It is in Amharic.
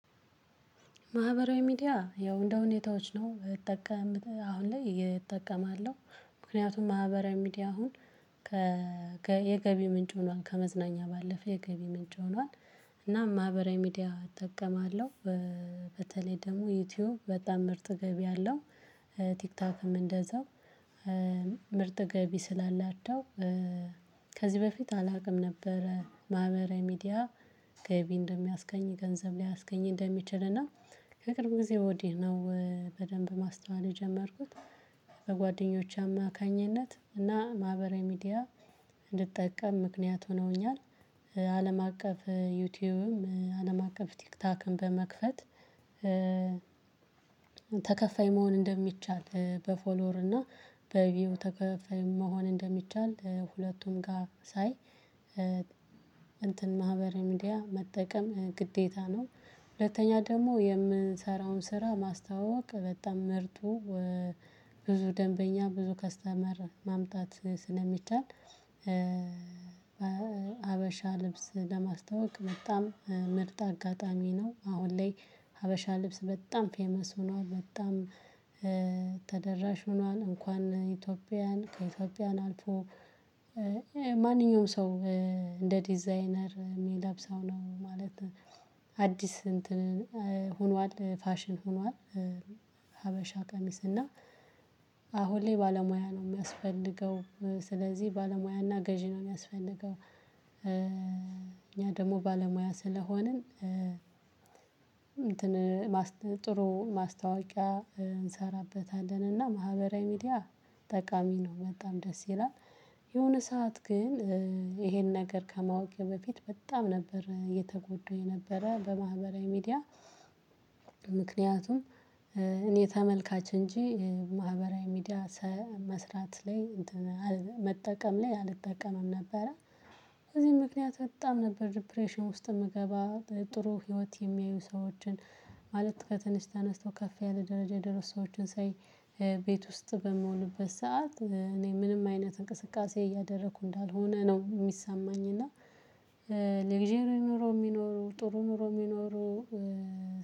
ማህበራዊ ሚዲያ ያው እንደሁኔታዎች ነው እጠቀምት አሁን ላይ እጠቀማለው ምክንያቱም ማህበራዊ ሚዲያ አሁን የገቢ ምንጭ ሆኗል ከመዝናኛ ባለፈ የገቢ ምንጭ ሆኗል። እና ማህበራዊ ሚዲያ እጠቀማለው በተለይ ደግሞ ዩቲዩብ በጣም ምርጥ ገቢ አለው። ቲክቶክም እንደዛው ምርጥ ገቢ ስላላቸው ከዚህ በፊት አላውቅም ነበረ ማህበራዊ ሚዲያ። ገቢ እንደሚያስገኝ ገንዘብ ሊያስገኝ እንደሚችል እና ከቅርብ ጊዜ ወዲህ ነው በደንብ ማስተዋል የጀመርኩት። በጓደኞቼ አማካኝነት እና ማህበራዊ ሚዲያ እንድጠቀም ምክንያት ሆኖኛል። አለም አቀፍ ዩቲዩብም አለም አቀፍ ቲክታክን በመክፈት ተከፋይ መሆን እንደሚቻል በፎሎወር እና በቪው ተከፋይ መሆን እንደሚቻል ሁለቱም ጋር ሳይ እንትን ማህበራዊ ሚዲያ መጠቀም ግዴታ ነው። ሁለተኛ ደግሞ የምንሰራውን ስራ ማስታወቅ በጣም ምርጡ ብዙ ደንበኛ ብዙ ከስተመር ማምጣት ስለሚቻል። ሀበሻ ልብስ ለማስታወቅ በጣም ምርጥ አጋጣሚ ነው። አሁን ላይ ሀበሻ ልብስ በጣም ፌመስ ሆኗል በጣም ተደራሽ ሆኗል። እንኳን ኢትዮጵያውያን ከኢትዮጵያውያን አልፎ ማንኛውም ሰው እንደ ዲዛይነር የሚለብሰው ነው። ማለት አዲስ እንትን ሆኗል ፋሽን ሆኗል። ሀበሻ ቀሚስ እና አሁን ላይ ባለሙያ ነው ሚያስፈልገው ስለዚህ ባለሙያና ገዢ ነው ሚያስፈልገው። እኛ ደግሞ ባለሙያ ስለሆንን ጥሩ ማስታወቂያ እንሰራበታለንና ማህበራዊ ሚዲያ ጠቃሚ ነው በጣም ደስ ይላል። የሆነ ሰዓት ግን ይሄን ነገር ከማወቄ በፊት በጣም ነበር የተጎዱ የነበረ በማህበራዊ ሚዲያ። ምክንያቱም እኔ ተመልካች እንጂ ማህበራዊ ሚዲያ መስራት ላይ መጠቀም ላይ አልጠቀምም ነበረ። በዚ ምክንያት በጣም ነበር ዲፕሬሽን ውስጥ ምገባው ጥሩ ህይወት የሚያዩ ሰዎችን ማለት ከትንሽ ተነስተው ከፍ ያለ ደረጃ የደረሱ ሰዎችን ሳይ። ቤት ውስጥ በምሆንበት ሰዓት እኔ ምንም አይነት እንቅስቃሴ እያደረኩ እንዳልሆነ ነው ሚሰማኝ እና። ሌግዠሪ ኑሮ የሚኖረው ጥሩ ኑሮ የሚኖረው።